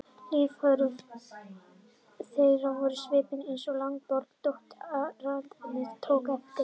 Lífsviðhorf þeirra voru svipuð, eins og Ingeborg, dóttir ræðismannsins, tók eftir.